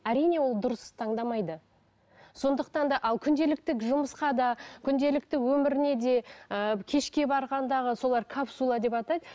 әрине ол дұрыс таңдамайды сондықтан да ал күнделікті жұмысқа да күнделікті өміріне де ыыы кешке барғандағы солар капсула деп атайды